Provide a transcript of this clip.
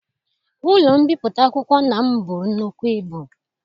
Ụlọ mbipụta akwụkwọ nna m bụrụ nnukwu ibu.